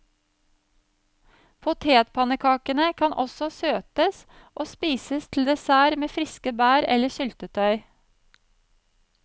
Potetpannekakene kan også søtes og spises til dessert med friske bær eller syltetøy.